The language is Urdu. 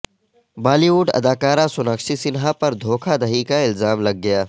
بالی ووڈ اداکارہ سوناکشی سنہا پر دھوکہ دہی کا الزام لگ گیا